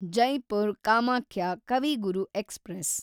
Jaipur Kamakhya Kavi Guru express